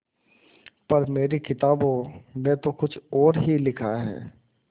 पर मेरी किताबों में तो कुछ और ही लिखा है